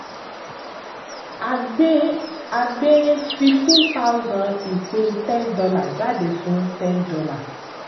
a gbé a gbé fifteen thousand ìpín ten dollar jáde fún [cs ten dollar